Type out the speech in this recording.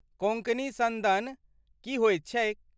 कोंकणी सन्दन की होइत छैक?